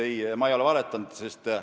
Ei, ma ei ole valetanud.